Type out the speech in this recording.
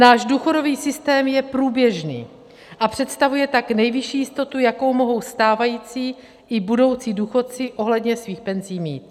Náš důchodový systém je průběžný, a představuje tak nejvyšší jistotu, jakou mohou stávající i budoucí důchodci ohledně svých penzí mít.